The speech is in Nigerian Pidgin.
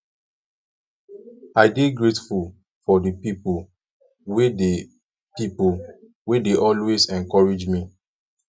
i dey grateful for di people wey dey people wey dey always encourage me